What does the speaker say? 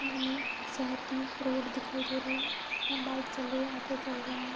यहाँ हमें शहर की रोड दिखाई दे रही है यहाँ बाइक चल रही है ऑटो चल रहा है।